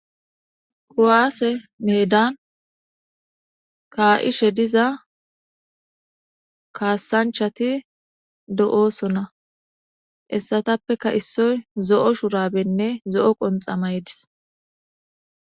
Kuwase meedan ka'ishe diza kasanchati de'osona hessatappeka issoy zo'o shurabene zo'o qonxxa mayides.